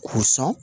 K'u sɔn